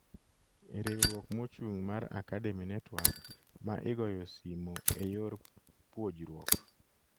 Riwruok mochung mar Academy Network ma igoyo simo e yor puojruok